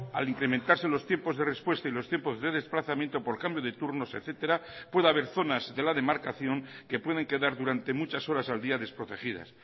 al incrementarse los tiempos de respuesta y los tiempos de desplazamiento por cambio de turnos etcétera pueda haber zonas de la demarcación que pueden quedar durante muchas horas al día desprotegidas